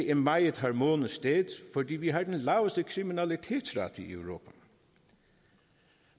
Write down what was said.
et meget harmonisk sted fordi vi har den laveste kriminalitetsrate i europa